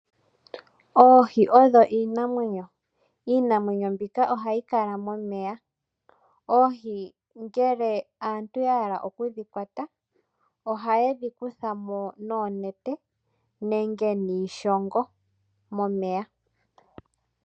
Oohi odho iinamwenyo. Iinamwenyo mbika oha yi kala momeya. Oohi ngele aantu ya hala oku dhi kwata, oha ye dhi kutha mo noonete, nenge niishongo momeya.